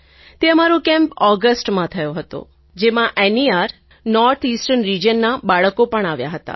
તે અમારો કેમ્પ ઑગસ્ટમાં થયો હતો જેમાં નેર નોર્થ ઇસ્ટર્ન રિજિયનનાં બાળકો પણ આવ્યા હતા